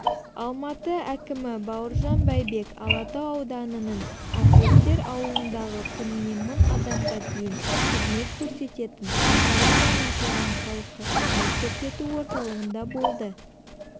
алматы әкімі бауыржан байбек алатау ауданының атлеттер ауылындағы күніне мың адамға дейін қызмет көрсететін жаңадан ашылған халыққа қызмет көрсету орталығында болды